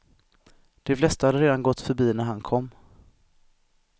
De flesta hade redan gått förbi när han kom.